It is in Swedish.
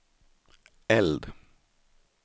eld